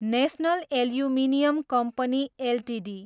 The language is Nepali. national aluminium company Ltd